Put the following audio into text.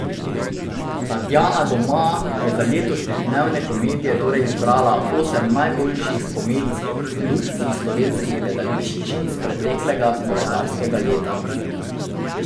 Tatjana doma je za letošnje Dneve komedije torej izbrala osem najboljših komedijskih produkcij slovenskih gledališč iz preteklega koledarskega leta.